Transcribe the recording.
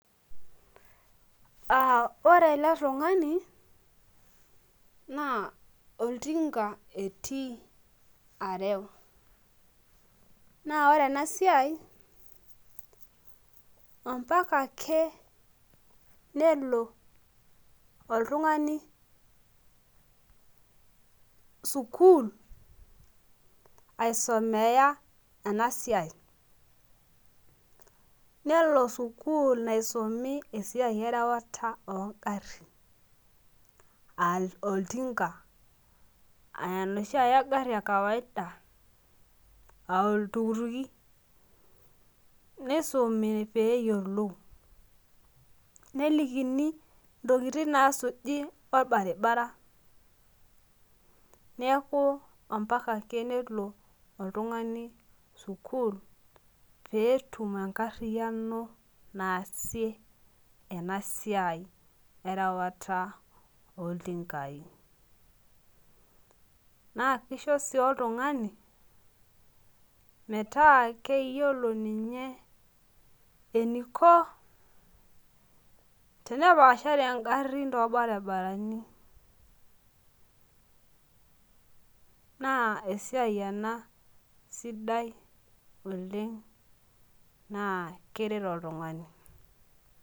Uh ore ele tung'ani naa oltinka etii arew naa ore ena siai ompaka ake nelo oltung'ani sukuul aisomeya ena siai nelo sukuul naisumi erewata ongarrin uh oltinka aa enoshiake garri e kawaida aa oltukutuki nisumi peyiolou nelikini intokitin naasuji orbaribara neeku ompaka ake nelo oltung'ani sukuul peetum enkarriyiano naasie ena siai erewata oltinkai naa kisho sii oltung'ani metaa keyiolo ninye eniko tenepashare ingarrin torbaribarani naa esiai ena sidai oleng naa keret oltung'ani.